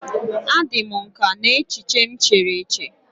A dị m nkà n'echiche m chere eche.